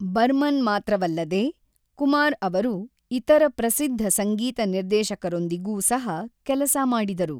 ಬರ್ಮನ್ ಮಾತ್ರವಲ್ಲದೆ, ಕುಮಾರ್ ಅವರು ಇತರ ಪ್ರಸಿದ್ಧ ಸಂಗೀತ ನಿರ್ದೇಶಕರೊಂದಿಗೂ ಸಹ ಕೆಲಸ ಮಾಡಿದರು.